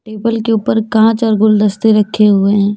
Table के ऊपर कांच और गुलदस्ते रखे हुए हैं।